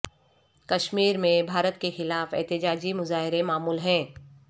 کشمیر میں بھارت کے خلاف احتجاجی مظاہرے معمول ہیں